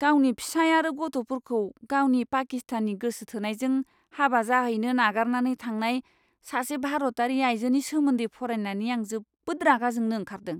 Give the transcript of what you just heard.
गावनि फिसाय आरो गथ'फोरखौ गावनि पाकिस्तानी गोसो थोनायजों हाबा जाहैनो नागारनानै थांनाय सासे भारतारि आयजोनि सोमोन्दै फरायनानै, आं जोबोद रागा जोंनो ओंखारदों!